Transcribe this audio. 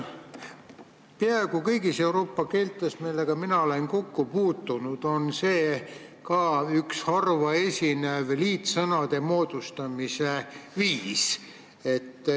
Peaaegu kõigis Euroopa keeltes, millega mina olen kokku puutunud, on see üks harva esinev liitsõnade moodustamise viis.